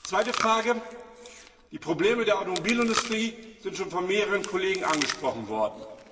Zweite Frage Die Probleme der Automobilindustrie sind schon von mehreren Kollegen angesprochen worden.